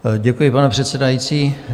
Děkuji, pane předsedající.